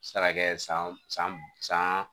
Se ka kɛ san san san